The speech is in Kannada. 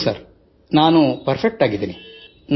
ಹೌದು ಸರ್ ನಾನು ಪರ್ಫೆಕ್ಟ್ ಆಗಿದ್ದೀನಿ